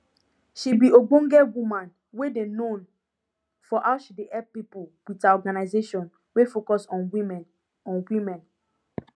she be ogbonge woman wey dey known for how she dey help pipo wit her organisation wey focus on women on women